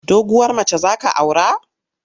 Doguwar mace za ka aura?